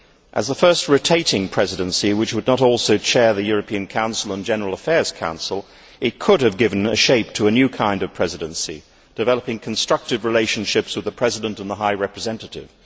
As the first rotating Presidency which would also chair the European Council and the General Affairs Council, it could have given shape to a new kind of Presidency, developing constructive relationships with the President and the High Representative.